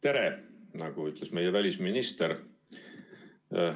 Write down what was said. Tere, nagu ütles meie välisminister!